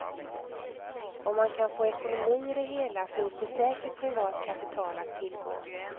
Om man kan få ekonomi i det hela finns det säkert privat kapital att tillgå.